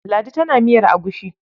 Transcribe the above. Ladi tana yin miyar agushi.